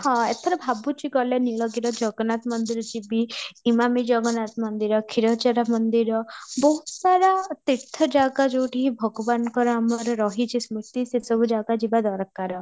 ହଁ ଏଥର ଭାବୁଛି ଗଲେ ନୀଳଗିରିର ଜଗନ୍ନାଥ ମନ୍ଦିର ଯିବି, ଇମାମି ଜଗନ୍ନାଥ ମନ୍ଦିର କ୍ଷୀରଚୋରା ମନ୍ଦିର ବହୁତ ସାରା ତୀର୍ଥ ଜାଗା ଯଉଠି ଭଗବାନ ଙ୍କର ଆମର ରହିଛି ସ୍ମୃତି ସେ ସବୁ ଜାଗା ଯିବା ଦରକାର